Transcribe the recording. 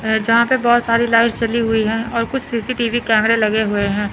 अ जहां पे बहोत सारी लाइट्स जली हुए है और कुछ सी_सी_टी_वी कैमरे लगे हुए हैं।